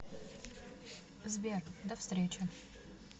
сбер до встречи